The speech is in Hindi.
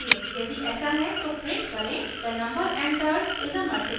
यदि ऐसा है तो प्रिंट करें the number entered is a multiple of 4